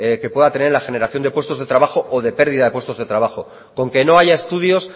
que pueda tener la generación de puestos de trabajo o pérdida de puestos de trabajo con que no haya estudios